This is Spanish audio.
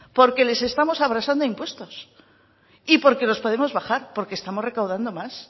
porque les estamos abrasando a impuestos y porque los podemos bajar porque estamos recaudando más